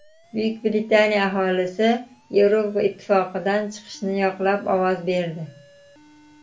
Buyuk Britaniya aholisi Yevroittifoqdan chiqishni yoqlab ovoz berdi .